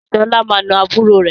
Sọlá máa na àbúrò rẹ